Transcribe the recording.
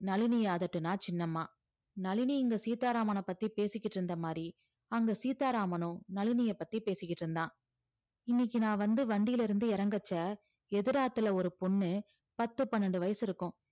நளினிய அதட்டுனா சின்னம்மா நளினி இங்க சீதாராமனப் பத்தி பேசிக்கிட்டு இருந்த மாதிரி அங்க சீதாராமனும் நளினிய பத்தி பேசிக்கிட்டு இருந்தான் இன்னைக்கு நான் வந்து வண்டியில இருந்து இறங்கச்ச எதிராத்துல ஒரு பொண்ணு பத்து பன்னெண்டு வயசு இருக்கும்